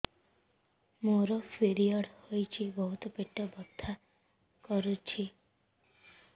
ମୋର ପିରିଅଡ଼ ହୋଇଛି ବହୁତ ପେଟ ବଥା କରୁଛି